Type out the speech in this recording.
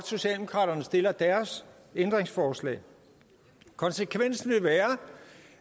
socialdemokraterne stiller deres ændringsforslag konsekvensen vil være